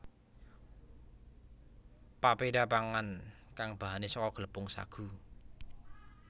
Pepeda pangan kang bahane saka glepung sagu